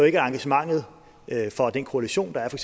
ikke at engagementet for den koalition der er for